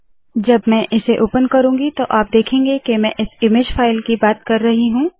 जब मैं इसे ओपन करुँगी तो आप देखेंगे के मैं इस इमेज फाइल की बात कर रही हूँ